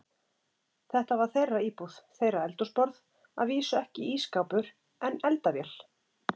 Þetta var þeirra íbúð, þeirra eldhúsborð, að vísu ekki ísskápur, en eldavél.